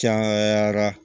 Cayara